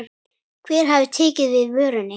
Hver hafi tekið við vörunni?